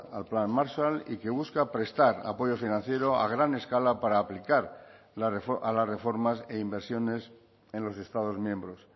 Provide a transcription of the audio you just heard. al plan marshall y que busca prestar apoyo financiero a gran escala para aplicar a las reformas e inversiones en los estados miembros